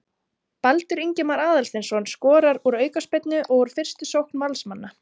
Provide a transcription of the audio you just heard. Baldur Ingimar Aðalsteinsson skorar úr aukaspyrnu og úr fyrstu sókn Valsmanna.